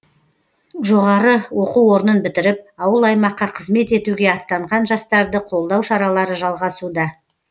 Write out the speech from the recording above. жоғары оқу орнын бітіріп ауыл аймаққа қызмет етуге аттанған жастарды қолдау шаралары жалғасуда